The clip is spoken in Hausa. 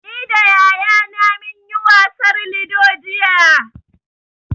Ni da yayana mun yi wasar lido jiya.